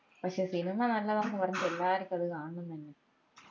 പക്ഷെ സിനിമ നല്ലതാന്ന് പറഞ്ഞിട്ട് എല്ലാര്ക്കും അത് കാണണം എന്നിണ്ട്